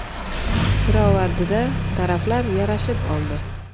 Pirovardida taraflar yarashib oldi.